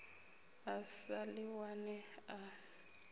a sa ḓi wane a